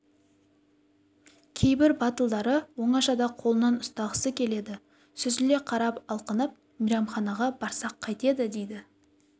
кейбір батылдары оңашада қолынан ұстағысы келеді сүзіле қарап алқынып мейрамханаға барсақ қайтеді дейді